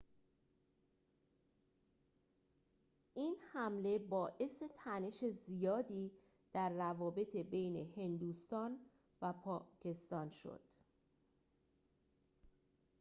این حمله باعث تنش زیادی در روابط بین هندوستان و پاکستان شد